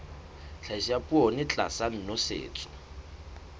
tlhahiso ya poone tlasa nosetso